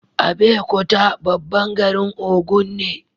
Abeokuta babban garin Ogun ne